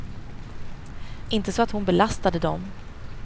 Inte så att hon belastade dem.